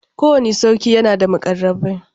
Kowanne sarki yana da muƙarrabai.